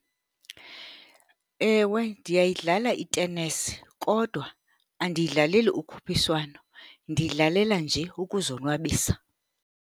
Ewe, ndiyayidlala itenesi. Kodwa andiyidlaleli ukhuphiswano, ndiyidlalela nje ukuzonwabisa.